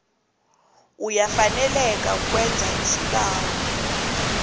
uyafaneleka kukwenza isibawo